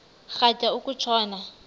rhatya uku tshona